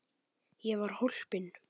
Hefði hann haft einhver áform.